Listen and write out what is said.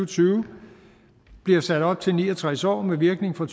tyve bliver sat op til ni og tres år med virkning fra